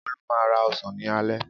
Olú máa ń ra ọsàn ní alẹ́.